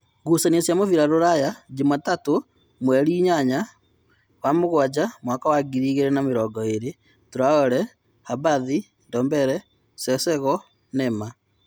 Ngucanio cia mũbira Ruraya Jumatano mweri inyanya wa mũgwanja mwaka wa ngiri igĩrĩ na mĩrongoĩrĩ: Taore, Habathi, Ndombere, Cecego, Neema.